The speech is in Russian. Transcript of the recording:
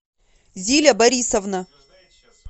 зиля борисовна